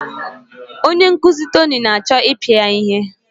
Onye nkuzi Tony na-achọ ịpịa ya ihe.